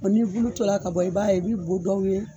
n'i bulu tora ka bɔ i b'a ye i bi bu dɔw ye